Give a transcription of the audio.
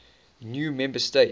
new member states